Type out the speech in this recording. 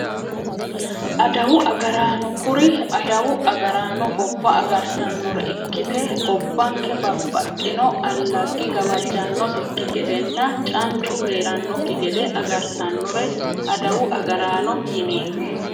Adawu agaraano kuri adawu agaraano gobba agartannore ikkite gobbanke babbaxxino allaggi gawajjannosekki gedenna cancu heerannokki gede agartannore adawu agaraano yineemmo